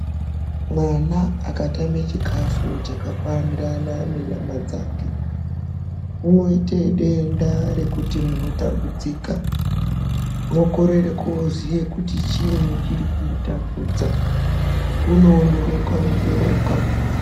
Mwana akatame chikafu chakakwanirana nenyama dzake unoite denda rekuti munotambudzika mwokorera kuziya kuti chiini chiri kumutambudza unoondoroka ondoroka.